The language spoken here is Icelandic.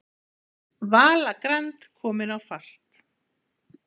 Vala Grand komin á fast